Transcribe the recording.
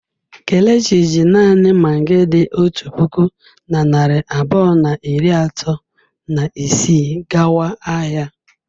Kelechi ji naanị magị dị otu puku na narị abụọ na iri atọ na isii gawa ahịa.